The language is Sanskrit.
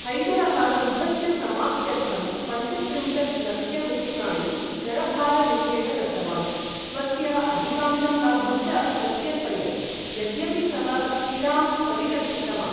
हैदरः युद्धस्य समाप्त्यर्थं पञ्चत्रिंशत् लक्षरूप्यकाणि करभाररूपेण दत्तवान्, स्वस्य अधिकांशं लाभं च प्रत्यर्पयत्, यद्यपि सः सिराम् परिरक्षितवान्।